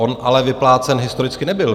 On ale vyplácen historicky nebyl.